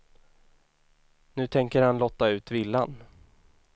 Nu tänker han lotta ut villan.